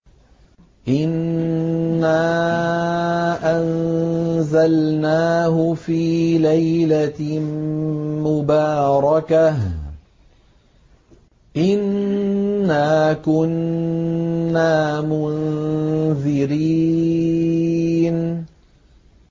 إِنَّا أَنزَلْنَاهُ فِي لَيْلَةٍ مُّبَارَكَةٍ ۚ إِنَّا كُنَّا مُنذِرِينَ